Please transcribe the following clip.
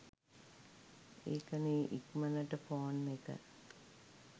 ඒකනේ ඉක්මනට ෆෝන් එක